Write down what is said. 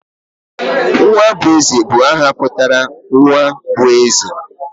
Nwabueze bu aha putara nwa bu eze.